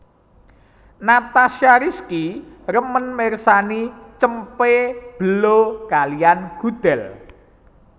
Natasha Rizky remen mirsani cempe belo kaliyan gudel